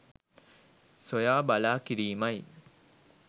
සොයා බලා කිරීමයි